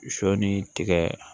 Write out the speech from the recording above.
Sɔ ni tigɛ